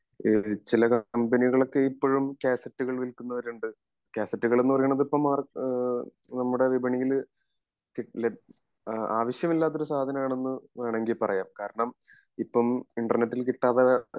ഇഹ് ചില കമ്പനികള് ഒക്കെ ഇപ്പോളും കാസറ്റുകൾ വില്കുന്നവരുണ്ട് കാസറ്റുകൾ എന്ന് പറയുന്നത് ഇപ്പൊ മാർ നമ്മുടെ വിപണിയില് ആവശ്യമില്ലാത്ത ഒരു സാധനം ആണെന്ന് വേണെങ്കി പറയാം കാരണം ഇപ്പോം ഇൻ്റെർനെറ്റിൽ കിട്ടാതെ